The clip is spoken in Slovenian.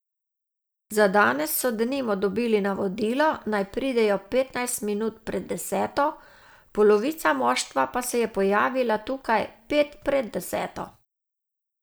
Za danes so denimo dobili navodilo, naj pridejo petnajst minut pred deseto, polovica moštva pa se je pojavila tukaj pet pred deseto.